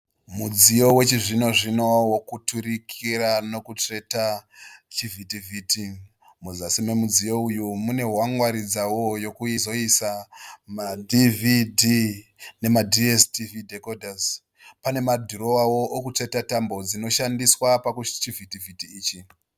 Mudziyo wechizvino zvino wekuturikira nekutsveta chivhitivhiti. Muzasi memudziyo uyu mune hwangwaridzo yekuzoisa maDVD nemaDSTV dhekodhasi. Pane madhirowawo ekutsveta tambo dzinoshandiswa pachivhitivhiti ichi.